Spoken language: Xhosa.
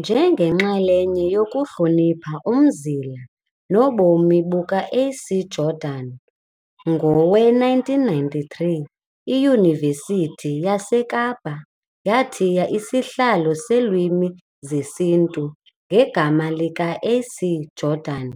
Njengenxalenye yokuhlonipha umzila nobomi buka A.C Jordan, ngowe-1993 iYunivesithi yaseKapa yathiya isihlalo seeLwimi zesiNtu ngegama lika A.C Jordan